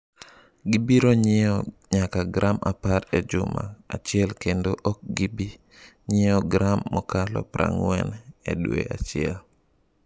Gibiro ng’iewo nyaka gram apar e juma achiel kendo ok gibi ng’iewo gram mokalo prang'wen e dwe achiel.